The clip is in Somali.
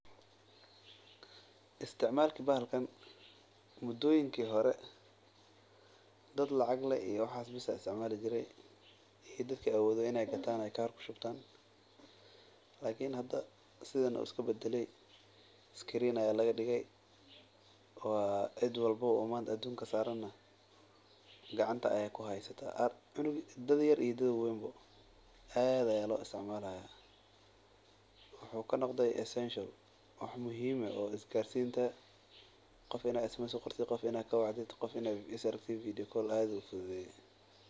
Isticmalka bahalkan mudoyinka hore dad lacag leh bes ayaa isticmaali jire lakin hada waa la badale qof walbo ayaa usticmalayaa waax badan ayuu fududeya.